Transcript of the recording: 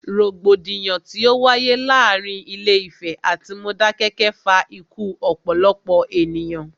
Rògbòdìyàn tí o wáyé láàárín Ilé Ìfẹ̀ atí Modákẹ́kẹ́ fa ikú ọ̀pọ̀lọpọ̀ ènìyàn.